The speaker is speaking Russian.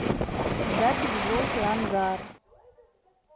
запись желтый ангар